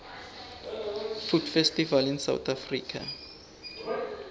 food festivals in south africa